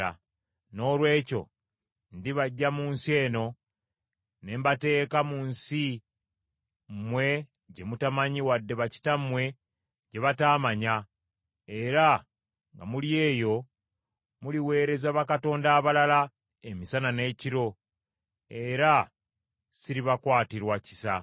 Noolwekyo ndibaggya mu nsi eno ne mbateeka mu nsi mmwe gye mutamanyi wadde bakitammwe gye bataamanya, era nga muli eyo muliweereza bakatonda abalala emisana n’ekiro, era siribakwatirwa kisa.’